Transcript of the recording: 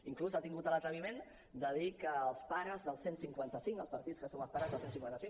inclús ha tingut l’atreviment de dir que els pares del cent i cinquanta cinc els partits que som els pares del cent i cinquanta cinc